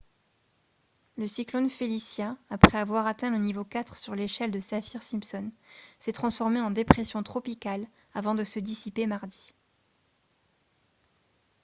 le cyclone felicia après avoir atteint le niveau 4 sur l'échelle de saffir-simpson s'est transformé en dépression tropicale avant de se dissiper mardi